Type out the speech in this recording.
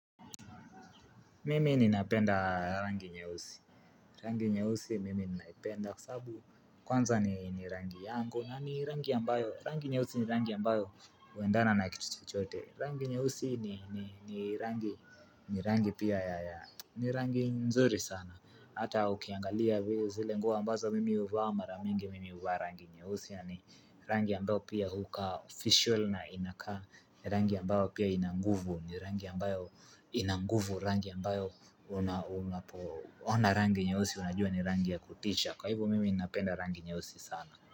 Mimi ninapenda rangi nyeusi, rangi nyeusi mimi ninaipenda kwa sababu kwanza ni rangi yangu na ni rangi ambayo huendana na ni rangi pia ya, ni rangi nzuri sana, ata ukiangalia vio zile nguo ambazo mimi huvaa mara mingi mimi huva rangi nyeusi, yaani rangi ambayo pia hukaa "official" na inakaa, rangi ambayo pia inanguvu, ni rangi ambayo inanguvu, Rangi ambayo unapoona rangi nyeusi unajua ni rangi ya kutisha. Kwa hivyo mimi napenda rangi nyeusi sana.